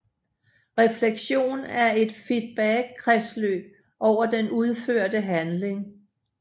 Refleksion er et feedbackkredsløb over den udførte handling